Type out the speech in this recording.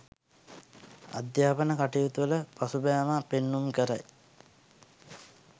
අධ්‍යාපන කටයුතුවල පසුබෑමක් පෙන්නුම් කරයි.